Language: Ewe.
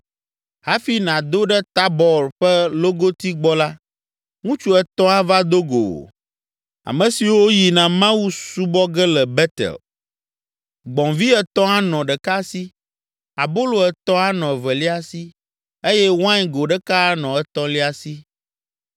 “Hafi nàdo ɖe Tabɔr ƒe logoti gbɔ la, ŋutsu etɔ̃ ava do go wò, ame siwo yina Mawu subɔ ge le Betel. Gbɔ̃vi etɔ̃ anɔ ɖeka si, abolo etɔ̃ anɔ evelia si eye wain go ɖeka anɔ etɔ̃lia si.